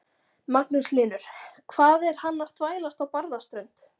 Magnús Hlynur: Hvað er hann að þvælast á Barðaströnd?